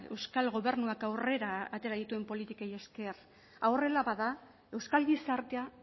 euskal gobernuak aurrera atera dituen politikei esker horrela bada euskal gizartea